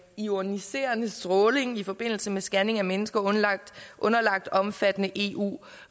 ioniserende stråling i forbindelse med scanning af mennesker underlagt underlagt omfattende eu